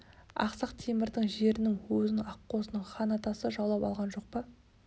ақсақ темірдің жерінің өзін аққозының хан атасы жаулап алған жоқ па